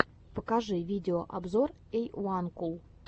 покажи видеообзор эйуанкул